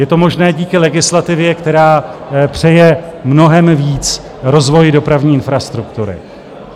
Je to možné díky legislativě, která přeje mnohem víc rozvoji dopravní infrastruktury.